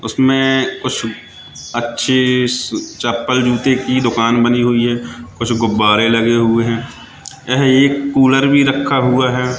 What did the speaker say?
उसमें कुछ अच्छे चप्पल जूते की दुकान बनी हुई है कुछ गुब्बारे लगे हुए हैं यह एक कूलर भी रखा हुआ है।